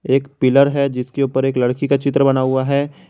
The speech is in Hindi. एक पिलर है जिसके ऊपर एक लड़की का चित्र बना हुआ है।